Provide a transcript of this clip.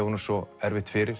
honum svo erfitt fyrir